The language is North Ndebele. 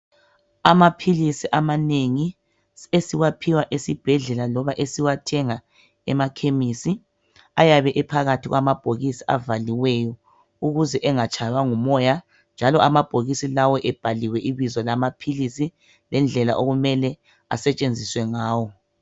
Amaphilisi amanengi esiwaphiwa esibhedlela loba esiwaphiwa emakhemisi ayabe ephakathi kwamabhokisi avaliweyo ukuze engatshaywa ngumoya njalo amabhokisi lawa ebhaliwe ibizo lamaphilisi lendlela okumele asetshenziswe ngawo